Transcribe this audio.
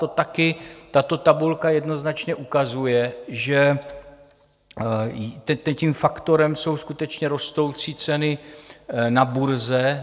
To taky tato tabulka jednoznačně ukazuje, že tím faktorem jsou skutečně rostoucí ceny na burze.